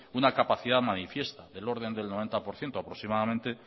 una capacidad manifiesta del orden del noventa por ciento aproximadamente